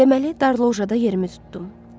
Deməli darlojada yerimi tutdum.